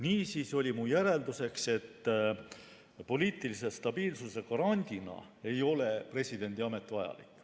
Niisiis oli minu järeldus, et poliitilise stabiilsuse garandina ei ole presidendiamet vajalik.